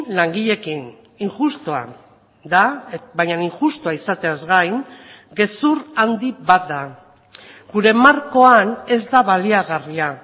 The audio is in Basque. langileekin injustua da baina injustua izateaz gain gezur handi bat da gure markoan ez da baliagarria